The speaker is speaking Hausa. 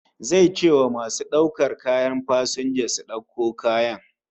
Zai ce wa masu daukar kayan fasinja su dauko kayan